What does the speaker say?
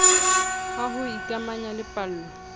a ho ikamanya le pallo